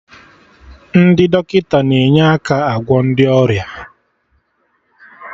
Ndị dọkịta na-enye aka agwọ ndị ọrịa